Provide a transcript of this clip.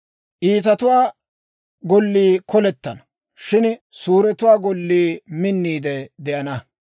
Iitatuwaa Gollii kolettenna; shin suuretuwaa gollii minniide de'ana.